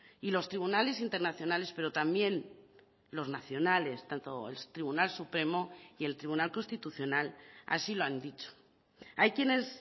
y los tribunales internacionales pero también los nacionales tanto el tribunal supremo y el tribunal constitucional así lo han dicho hay quienes